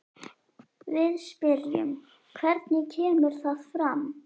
Við spyrjum, hvernig kemur það fram?